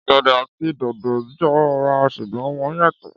Ọ̀gẹ̀dẹ̀ àti dòdò jọ ra ṣùgbọ́n wọ́n yàtọ̀